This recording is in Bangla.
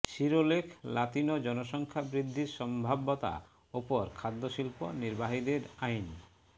শিরোলেখ লাতিনো জনসংখ্যা বৃদ্ধির সম্ভাব্যতা উপর খাদ্য শিল্প নির্বাহীদের আইন